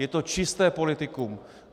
Je to čisté politikum.